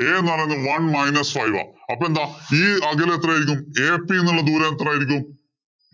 A എന്ന് പറയുന്നത് one minus five ആ. അപ്പൊ എന്താ c അതില് എത്രയായിരിക്കും? ac എന്നുള്ള ദൂരം എത്രയായിരിക്കും.